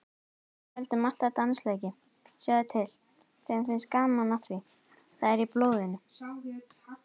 Við héldum alltaf dansleiki, sjáðu til, þeim finnst gaman að því, það er í blóðinu.